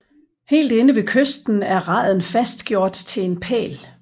Helt inde ved kysten er raden fastgjort til en pæl